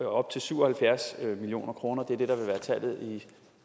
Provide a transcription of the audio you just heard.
op til syv og halvfjerds million kroner det er det der vil være tallet